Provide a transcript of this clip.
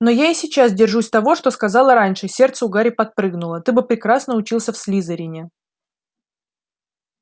но я и сейчас держусь того что сказала раньше сердце у гарри подпрыгнуло ты бы прекрасно учился в слизерине